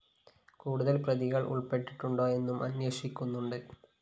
കൂടുതല്‍ പ്രതികള്‍ ഉള്‍പ്പെട്ടിട്ടുണ്ടോ എന്നും അന്വേഷിക്കുന്നുണ്ട്